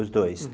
Os dois.